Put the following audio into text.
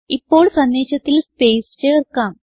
ഇപ്പോൾ സന്ദേശത്തിൽ സ്പേസ് ചേർക്കാം